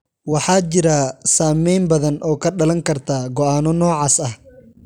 Waxaa jira saameyn badan oo ka dhalan karta go'aanno noocaas ah.